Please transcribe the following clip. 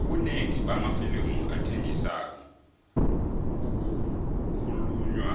ubunengi bamafilimu athengisako kukhulunywa